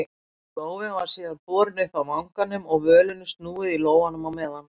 Lófinn var síðan borinn upp að vanganum og völunni snúið í lófanum á meðan.